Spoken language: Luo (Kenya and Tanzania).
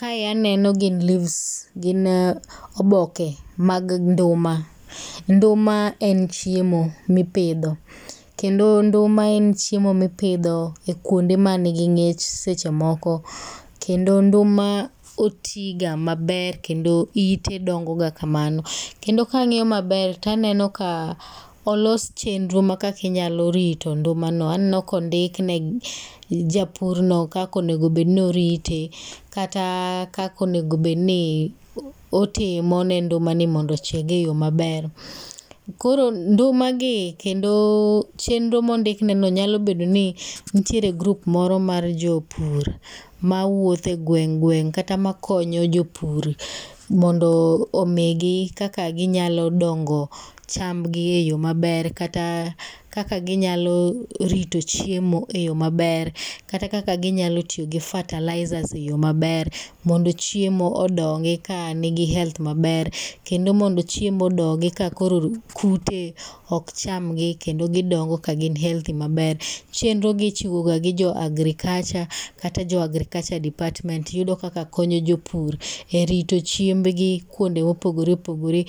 Kae aneno gin leaves gin oboke mag nduma, nduma en chiemo mipidho, kendo nduma en chiemo mipidho e kwonde ma nigi ng'ich sechemoko, kendo nduma otiga maber kendo ite dongoga kamano, kendo kang'iyo maber, taneno ka olos chenro ma kaka inyalorito ndumano, aneno ka ondikne japurno kaka onegobedni orite kata kaka onegobedni otimo ne ndumani mondo ochieg e yoo maber. Koro ndumagi kendo chenro mondikneno nyalobedono nitiere group moro mar jopur mawuotho e gweng' gweng' kata makonyo jopur mondo omigi kaka ginyalodongo chambgi e yoo maber kata kaka ginyalorito chiemo e yoo maber kata kaka ginyalo tiyo gi fertilizers e yoo maber mondo chiemo odongi ka nigi health maber, kendo mondo chiemo odongi ka koro kute okchamgi kendo gidongo ka gin healthy maber, chenrogi ichiwo ga gi jo agriculture kata jo agriculture department yudo kaka konyo jopur e rito chiembgi kwonde mopogore opogore